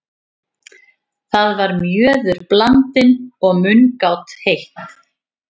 Þar var mjöður blandinn og mungát heitt.